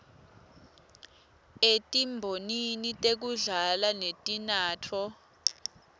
etimbonini tekudla netinatfo